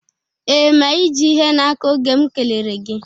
Ee, ma ị ji ihe n'aka oge m kelere gị